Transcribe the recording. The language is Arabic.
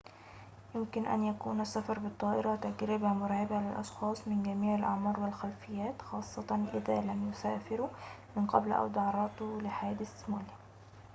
يمكن أن يكون السفر بالطائرة تجربة مرعبة للأشخاص من جميع الأعمار والخلفيات خاصةً إذا لم يسافروا من قبل أو تعرضوا لحادثٍ مؤلمٍ